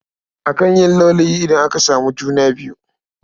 Akan yi laulayi idan aka samu juna biyu..